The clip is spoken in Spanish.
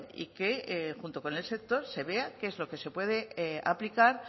y que junto con el sector se vea qué es lo que se puede aplicar